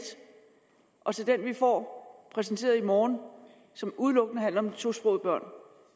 og til den vi får præsenteret i morgen som udelukkende handler om tosprogede børn